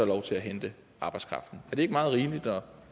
lov til at hente arbejdskraften er det ikke meget rimeligt og